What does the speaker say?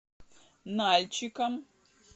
нальчиком